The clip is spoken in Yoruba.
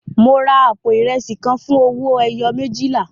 Mo ra àpò ìrẹsì kan fún owó ẹyọ méjìlá.